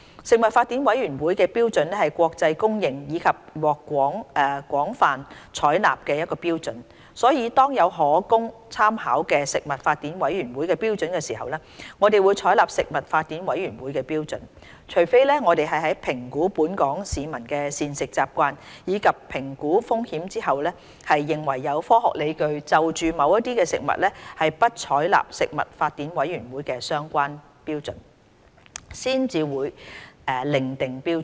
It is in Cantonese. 食品法典委員會的標準是國際公認及獲廣泛採納的標準，所以當有可供參考的食品法典委員會標準時，我們會採納食品法典委員會的標準，除非我們在評估本港市民的膳食習慣，以及評估風險後，認為有科學理據就某些食物不採納食品法典委員會的相關標準，才會另訂標準。